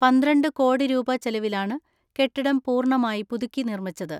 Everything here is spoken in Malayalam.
പന്ത്രണ്ട് കോടി രൂപ ചെലവിലാണ് കെട്ടിടം പൂർണ മായി പുതുക്കി നിർമിച്ചത്.